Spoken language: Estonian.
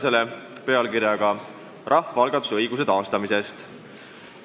Selle pealkiri on "Rahvaalgatuse õiguse taastamisest".